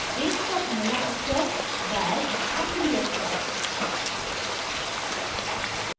range का पहला अक्षर dash आखिरी अक्षर